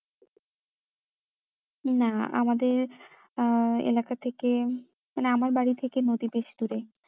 না আমাদের আহ এলাকা থেকে মানে আমার বাড়ি থেকে নদী বেশ দূরেই